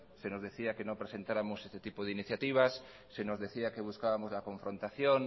se nos decía que no presentáramos este tipo de iniciativas se nos decía que buscábamos la confrontación